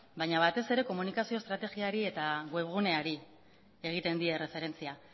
baina batez ere komunikazio estrategiari eta webguneari egiten die erreferentzia